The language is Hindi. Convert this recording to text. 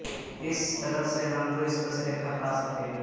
इस तरह से हम दो स्पर्श रेखा पा सकेंगे